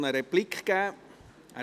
Er möchte eine Replik geben.